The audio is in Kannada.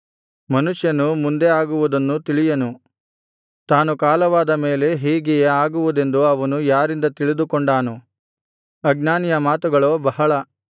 ಮನುಷ್ಯನು ಮುಂದೆ ಆಗುವುದನ್ನು ತಿಳಿಯನು ತಾನು ಕಾಲವಾದ ಮೇಲೆ ಹೀಗೆಯೇ ಆಗುವುದೆಂದು ಅವನು ಯಾರಿಂದ ತಿಳಿದುಕೊಂಡಾನು ಅಜ್ಞಾನಿಯ ಮಾತುಗಳೋ ಬಹಳ